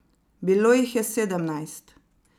Bilo jih je sedemnajst.